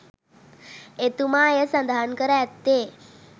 එතුමා එය සඳහන් කර ඇත්තේ